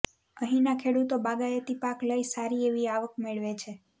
અહીંના ખેડૂતો બાગાયતી પાક લઈ સારી એવી આવક મેળવે છે